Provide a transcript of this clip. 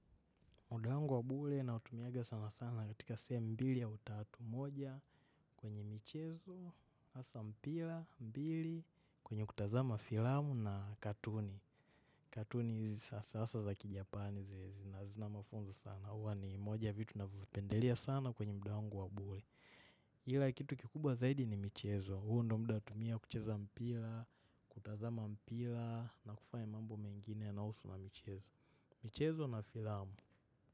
Muda wangu wa bure na utumianga sana sana katika sehemu mbili ya utatu moja kwenye michezo, hasa mpira, mbili, kwenye kutazama filamu na katuni. Katuni hizi sasa za kijapani zile zina mafunzo sana. Huwa ni moja vitu navipendelea sana kwenye muda wangu wa bure. Ila kitu kikubwa zaidi ni michezo. Huu ndiyo muda natumia kucheza mpira, kutazama mpira, na kufanya mambo mengine yanayohusu michezo. Michezo na filamu.